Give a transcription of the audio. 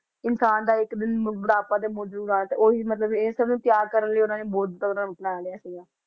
ਇਨਸਾਨ ਦਾ ਇੱਕ ਦਿਨ ਬ~ ਬੁਢਾਪਾ ਤੇ ਜ਼ਰੂਰ ਆਉਣਾ ਤੇ ਉਹੀ ਮਤਲਬ ਇਸਨੂੰ ਤਿਆਗ ਕਰਨ ਲਈ ਉਹਨਾਂ ਨੇ ਬੁੱਧ ਅਪਣਾ ਲਿਆ ਸੀਗਾ।